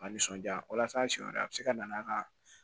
A nisɔnja walasa siɲɛ wɛrɛ a be se ka na n'a ka